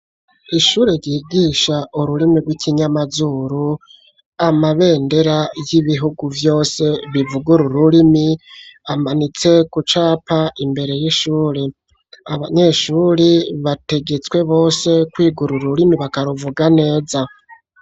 Ishure ryigisha ururimi rw'ikinyamazuru amabendera y'ibihugu vyose bivuga ururimi amanitse kucapa imbere y'ishure abanyeshuri bategetswe bose kwiga ururimi bakaruvuga neza.